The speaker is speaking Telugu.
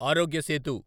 ఆరోగ్య సేతు